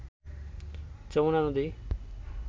যমুনা নদী